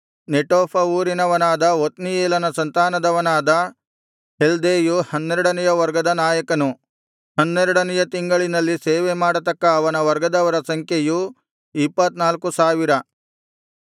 ನೆಟೋಫ ಊರಿನವನಾದ ಒತ್ನೀಯೇಲನ ಸಂತಾನದವನಾದ ಹೆಲ್ದೈಯು ಹನ್ನೆರಡನೆಯ ವರ್ಗದ ನಾಯಕನು ಹನ್ನೆರಡನೆಯ ತಿಂಗಳಿನಲ್ಲಿ ಸೇವೆಮಾಡತಕ್ಕ ಅವನ ವರ್ಗದವರ ಸಂಖ್ಯೆಯು ಇಪ್ಪತ್ತ್ನಾಲ್ಕು ಸಾವಿರ